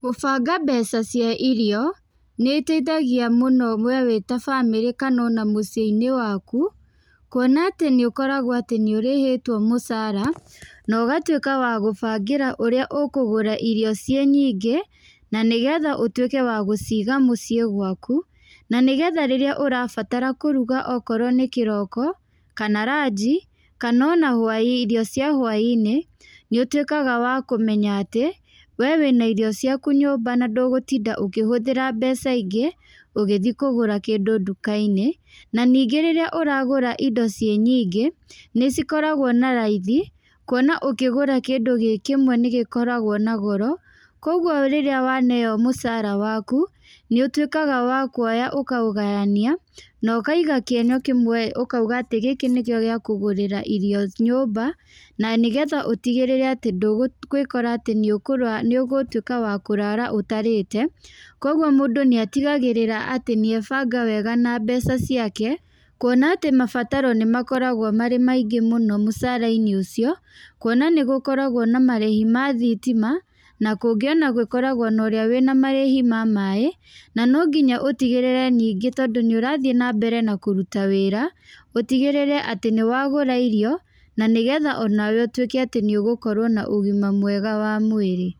Gũbanga mbeca cia irio, nĩ iteithagia mũno wee wĩ ta bamĩrĩ kana ona mũciĩ-inĩ waku. Kuona atĩ nĩ ũkoragwo atĩ nĩ ũrĩhĩtwo mũcara, na ũgatuĩka wa gũbangĩra ũrĩa ũkũgũra irio ciĩ nyingĩ. Na nĩgetha ũtuĩke wa gũciiga mũciĩ gwaku, na nĩgetha rĩrĩa ũrabatara kũruga okorwo nĩ kĩroko, kana ranji, kana ona hwainĩ irio cia hwainĩ. Nĩ ũtuĩkaga wa kũmenya atĩ, wee wĩna irio ciaku nyũmba na ndũgũtinda ũkĩhũthĩra mbeca ingĩ, ũgĩthi kũgũra kĩndũ nduka-inĩ. Na ningĩ rĩrĩa ũragũra indo ciĩ nyingĩ, nĩ cikoragwo na raithi, kuona ũngĩgũra kĩndũ gĩ kĩmwe nĩ gĩkoragwo na goro. Kũguo rĩrĩa waneeo mũcaara waku, nĩ ũtuĩkaga wa kuoya ũkaũgayania, na ũkaiga kĩenyũ kĩmwe ũkauga atĩ gĩkĩ nĩkĩo gĩa kũgũrĩra irio nyũmba, na nĩgetha ũtigĩrĩre atĩ ndũgũĩkora atĩ nĩ nĩ ũgũtuĩka wa kũrara ũtarĩte. Kũguo mũndũ nĩ atigagĩrĩra atĩ nĩ ebanga wega na mbeca ciake, kuona atĩ mabataro nĩ makoragwo marĩ maingĩ mũno mũcara-inĩ ũcio, kuona nĩ gũkoragwo na marĩhi ma thitima, na kũngĩ ona gũkoragwo na ũrĩa wĩna marĩhi ma maaĩ. Na no nginya ũtigĩrĩre ningĩ tondũ nĩ ũrathiĩ na mbere na kũruta wĩra, ũtigĩrĩre atĩ nĩ wagũra irio, na nĩgetha onawe ũtuĩke atĩ nĩ ũgũkorwo na ũgima mwega wa mwĩrĩ.